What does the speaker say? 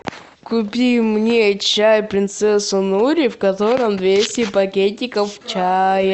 купи мне чай принцесса нури в котором двести пакетиков чая